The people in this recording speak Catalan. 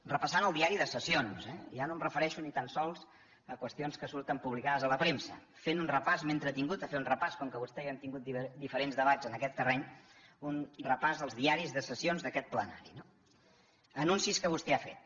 repassant el diari de sessions eh ja no em refereixo ni tan sols a qüestions que surten publicades a la premsa fent ne un repàs m’he entretingut a fer un repàs com que vostè i jo hem tingut diferents debats en aquest terreny dels diaris de sessions d’aquest plenari no anuncis que vostè ha fet